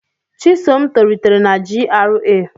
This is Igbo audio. Chisom tolitere na GRA.